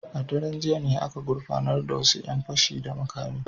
A daren jiya ne aka gurfanar da wasu ‘yan fashi da makami.